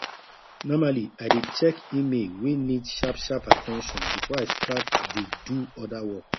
normally i dey check email wey need sharp sharp at ten tion before i start dey do other work